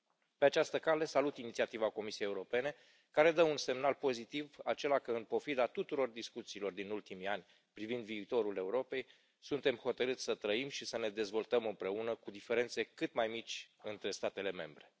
Pe această cale, salut inițiativa Comisiei Europene, care dă un semnal pozitiv acela că în pofida tuturor discuțiilor din ultimii ani privind viitorul Europei, suntem hotărați să trăim și să ne dezvoltăm împreună, cu diferențe cât mai mici între statele membre.